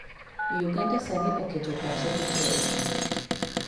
Uganda sani oketo pache duto e pur